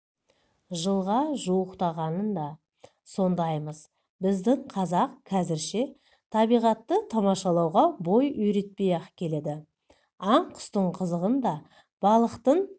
жылға жуықтағанында сондаймыз біздің қазақ қазірше табиғатты тамашалауға бой үйретпей-ақ келеді аң-құстың қызығын да балықтың